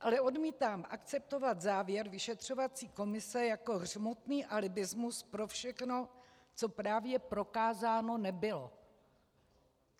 Ale odmítám akceptovat závěr vyšetřovací komise jako hřmotný alibismus pro všechno, co právě prokázáno nebylo.